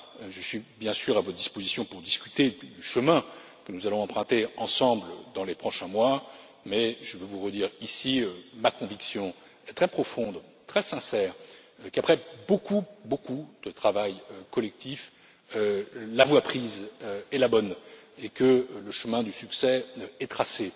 Je suis, bien sûr, à votre disposition pour discuter du chemin que nous allons emprunter ensemble dans les prochains mois, mais je veux vous redire ici ma conviction très profonde et très sincère qu'après beaucoup de travail collectif, la voie prise est la bonne et que le chemin du succès est tracé.